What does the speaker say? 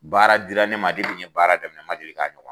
Baara dira ne ma depi n ye baara daminɛ n man deli k'a ɲɔgɔn